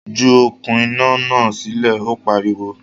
Ju “okùn iná” náà sílẹ̀! Ó pariwo.